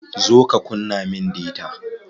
Zo ka kunna min data.